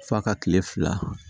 F'a ka kile fila